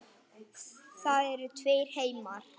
Það eru tveir heimar.